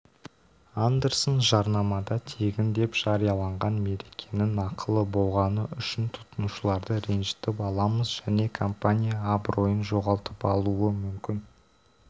андерсон жарнамада тегін деп жарияланған мерекенің ақылы болғаны үшін тұтынушыларды ренжітіп аламыз және компания абыройын жоғалтып алуы мүмкін